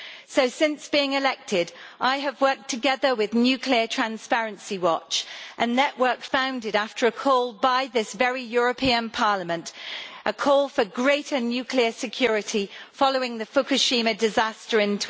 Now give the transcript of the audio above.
So since being elected I have worked together with Nuclear Transparency Watch, a network founded, after a call by this very European Parliament for greater nuclear security following the Fukushima disaster in